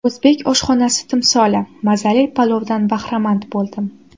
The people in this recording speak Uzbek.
O‘zbek oshxonasi timsoli mazali palovdan bahramand bo‘ldim.